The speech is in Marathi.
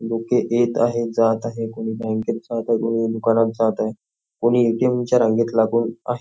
लोक येत आहे जात आहे कुणी बँकेत जात आहे तर कुणी दुकानात जात आहेत कुणी ए.टी.एम च्या रांगेत रंग करून उभे आहे.